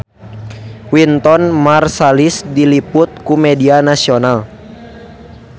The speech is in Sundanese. Wynton Marsalis diliput ku media nasional